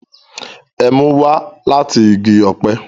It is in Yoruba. Ẹmu wá lati igi ọpẹ